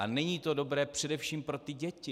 A není to dobré především pro ty děti.